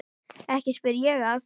Ekki spyr ég að.